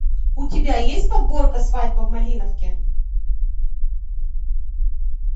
у тебя есть подборка свадьба в малиновке